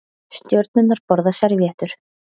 Stjörnurnar borða servíettur